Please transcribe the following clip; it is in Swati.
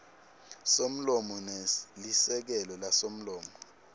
somlomo nelisekela lasomlomo